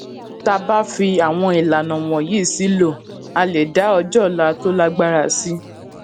tá a bá fi àwọn ìlànà wònyí sílò a lè dá ọjó òla tó lágbára sí